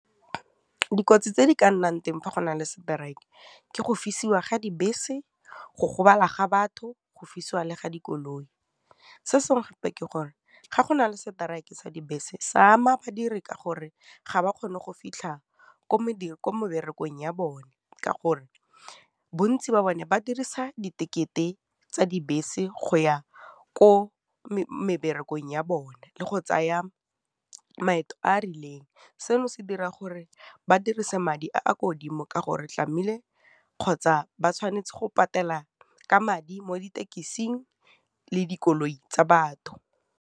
Dikotsi tse di ka nnang teng fa go na le seteraeke ke go fisiwa ga dibese, go gobala ga batho, go fisiwa le ga dikoloi. Se sengwe gape ke gore ga go na le seteraeke sa dibese se ama badiri ka gore ga ba kgone go fitlha ko meberekong ya bone ka gore bontsi ba bone ba dirisa di tekete tsa dibese go ya ko meberekong ya bone le go tsaya maeto a a rileng, seno se dira gore ba dirise madi a a kwa godimo ka gore tlameile kgotsa ba tshwanetse go patela ka madi mo ditekising le dikoloi tsa batho.